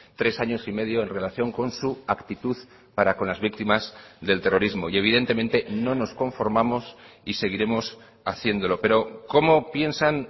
tres años y medio en relación con su actitud para con las víctimas del terrorismo y evidentemente no nos conformamos y seguiremos haciéndolo pero cómo piensan